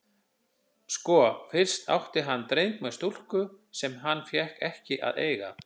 Sko, fyrst átti hann dreng með stúlku sem hann fékk ekki að eiga.